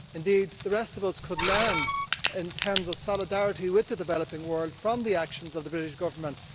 Indeed the rest of us could learn, in terms of solidarity with the developing world, from the actions of the British Government.